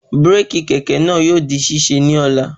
Bíràkì kẹ̀kẹ́ náà yóò di ṣíṣe ní ọ̀la